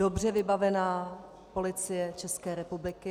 Dobře vybavená Policie České republiky.